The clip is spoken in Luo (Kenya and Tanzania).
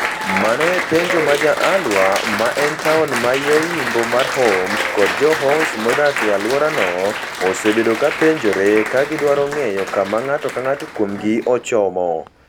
Mano e penjo ma jo al-Waer, ma en taon man yo yimbo mar Homs, kod jo Homs modak e alworano, osebedo kapenjore ka gidwaro ng'eyo kama ng'ato ka ng'ato kuomgi ochomo.